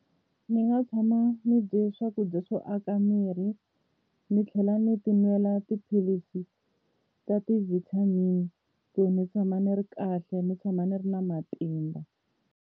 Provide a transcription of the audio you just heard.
Ni nga tshama ni dye swakudya swo aka miri ni tlhela ni ti nwela tiphilisi ta ti vitamin ku ni tshama ni ri kahle ni tshama ni ri na matimba.